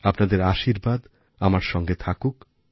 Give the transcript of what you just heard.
আপনাদের আশীর্বাদ আমার সঙ্গে থাকুক